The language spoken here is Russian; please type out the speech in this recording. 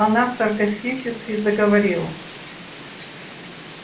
она саркастически заговорила